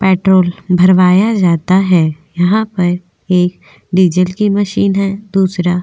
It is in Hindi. पेट्रोल भरवाया जाता है यहां पर एक डीजल की मशीन है दूसरा --